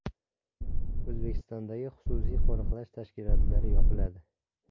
O‘zbekistondagi xususiy qo‘riqlash tashkilotlari yopiladi.